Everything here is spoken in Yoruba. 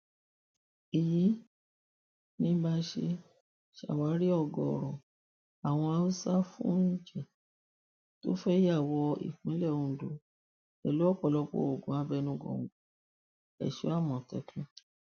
èyí ni bá a ṣe ṣàwárí ọgọọrọ àwọn haúsáfúnilì tó fẹẹ ya wọ ìpínlẹ ondo pẹlú ọpọlọpọ oògùn abẹnugòńgòèso àmọtẹkùn